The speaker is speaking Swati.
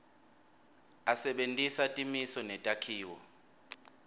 asebentisa timiso netakhiwo